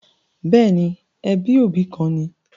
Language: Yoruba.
Bẹ́ẹ̀ni, ẹbí òbí kan ni